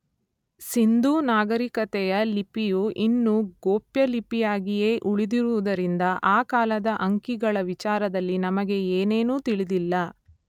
ಸಿಂಧೂ ನಾಗರಿಕತೆಯ ಲಿಪಿಯು ಇನ್ನೂ ಗೋಪ್ಯಲಿಪಿಯಾಗಿಯೇ ಉಳಿದಿರುವುದರಿಂದ ಆ ಕಾಲದ ಅಂಕಿಗಳ ವಿಚಾರದಲ್ಲಿ ನಮಗೆ ಏನೇನೂ ತಿಳಿದಿಲ್ಲ.